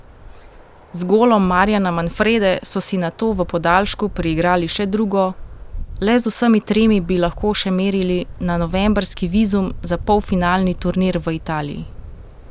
Z golom Marjana Manfrede so si nato v podaljšku priigrali še drugo, le z vsemi tremi bi lahko še merili na novembrski vizum za polfinalni turnir v Italiji.